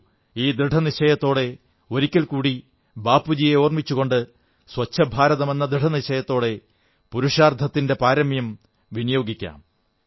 വരൂ ഈ ദൃഢനിശ്ചയത്തോടെ ഒരിക്കൽ കൂടി ബാപ്പുജിയെ ഓർമ്മിച്ചുകൊണ്ട് സ്വച്ഛഭാരതമെന്ന ദൃഢനിശ്ചയത്തോടെ ഏറ്റവും നല്ല ഉദ്യമങ്ങൾ അതിനായി വിനിയോഗിക്കാം